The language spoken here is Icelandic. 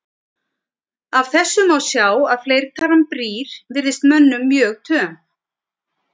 Af þessu má sjá að fleirtalan brýr virðist mönnum mjög töm.